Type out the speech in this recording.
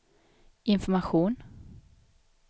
information